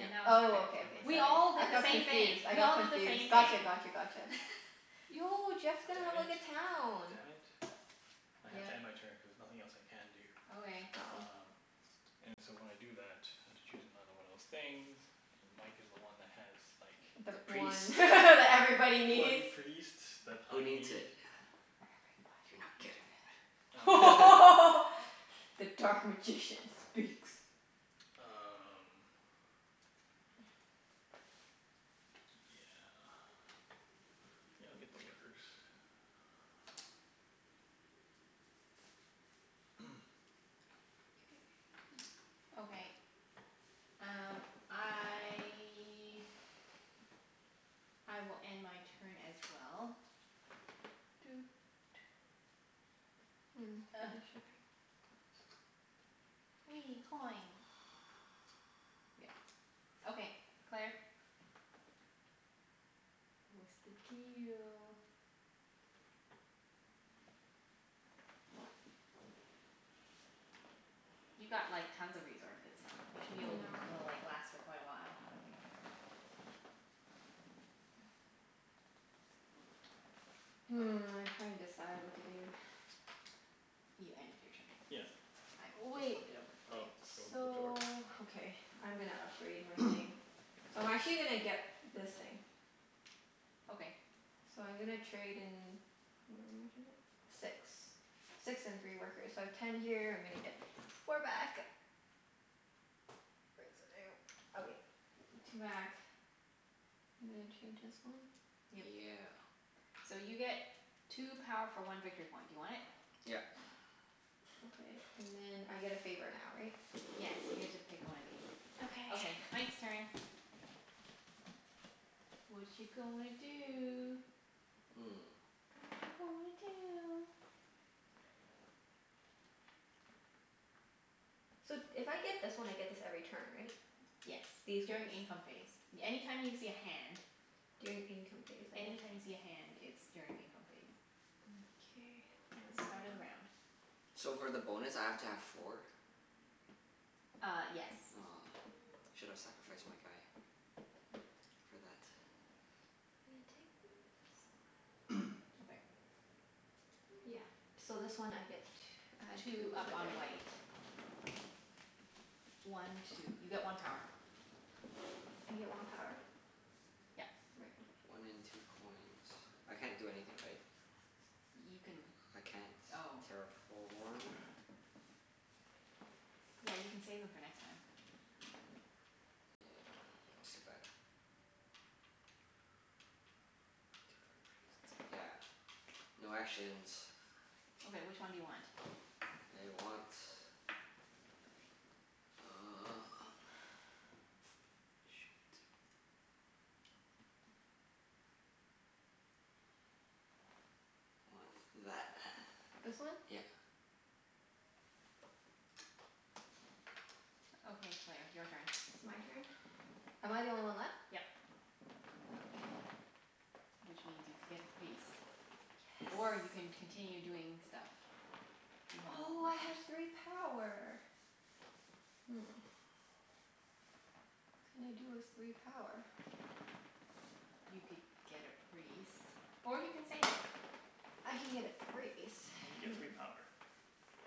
And now it's your turn. Oh, Is okay, it okay, my We sorry. turn? all I did the got same thing. confused. I We got all did the confused. same Gotcha, thing. gotcha, gotcha. Yo, Jeff's gonna Damn have it. like a town. Damn it. I have to Yep. end my turn cuz nothing else I can do. Okay. Oh. Um And so when I do that, I have to choose another one of those things. And Mike is the one that has like the The The one priest. that everybody bloody needs. priest that Who I needs it? need. Everybody You're needs it. not getting it. The dark magician speaks. Um Yeah. Yeah, I'll get the workers. K. Okay, um I I will end my turn as well. Doot. Mm. shipping. Wee, coin. Yeah. Okay, Claire? What's the deal? You've got like tons of resources. You should be I able to know. l- like last for quite a while. Hmm, I'm trying to decide what to do. You ended your turn. Yeah. I just Wait. flipped it over for Oh, you. you want them flipped over? So, okay, I'm gonna upgrade my thing. So I'm actually gonna get this thing. Okay. So I'm gonna trade in, how much is it? Six. Six and three workers. So I have ten here. I'm gonna get four back. Where's the damn, okay, two back. I'm gonna change this one. Yep. Yeah. So you get two power for one victory point. Do you want it? Yep. Okay. And then I get a favor now, right? Yes, you get to pick one of these. Okay, Okay. Mike's turn. Watcha gonna do? Hmm. Watcha gonna do? So if I get this one I get this every turn, right? Yes. These ones. During income phase. Any time you see a hand During income phase. Okay. Any time you see a hand it's during income phase. Mkay. At the Where start am I? of the round. So for the bonus I have to have four? Ah, yes. Aw, should have sacrificed my guy. For that. I'm gonna take this one. Okay. Yeah. So this one I get tw- add Two two up over on there. white. One two. You get one power. I get one power? Yep. Right. Okay. One in two coins. I can't do anything, right? You can, I can't oh. terraform. Yeah, you can save them for next time. Yeah, I still got Two for a priest. Yeah, no actions. Okay, which one do you want? I want Uh shit. Want that. This one? Yep. Okay, Claire. Your turn. It's my turn? Am I the only one left? Yep. Oh, okay. Which means you'd get the priest, or Yes. you can continue doing stuff. You have no Oh, more I have three power. Hmm. What can I do with three power? You could get a priest. Or you can save it. I can get a priest. And you Hmm. get three power.